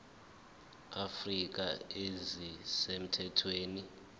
afrika ezisemthethweni abalwe